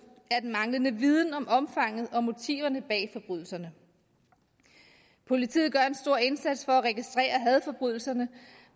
er den manglende viden om omfanget af og motiverne bag forbrydelserne politiet gør en stor indsats for at registrere hadforbrydelserne